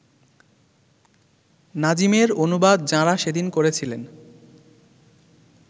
নাজিমের অনুবাদ যাঁরা সেদিন করেছিলেন